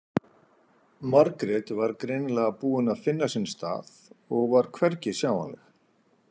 Margrét var greinilega búin að finna sinn stað og var hvergi sjáanleg.